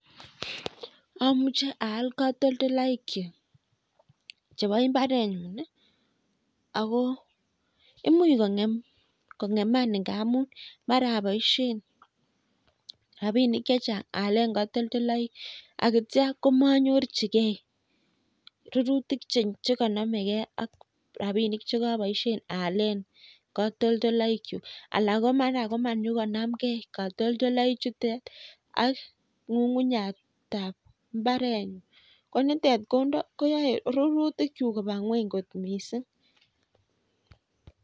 Amuche aal katoldolaik chu chebo imbarenyun ako imuch kong'eman ngamun mara aboishen rabinik chechang' aalen katoldoloik akitcho komanyorchigie rurutik chekanomegei ak rabinik chekiboishen aalen katoldoloik chu ala ko mara komanyikonamgei katoldolaik chutet ak ng'ung'uyatab mbarenyu ko nitet koyoei rurutik chu koba ng'weny kot mising'